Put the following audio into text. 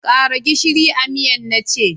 Kara gishiri a miyan na ce!